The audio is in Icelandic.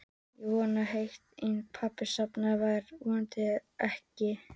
Ég vonaði heitt og innilega að pabbi sofnaði en þær vonir rættust ekki.